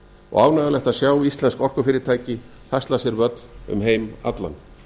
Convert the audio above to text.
og ánægjulegt að sjá íslensk orkufyrirtæki hasla sér völl um heim allan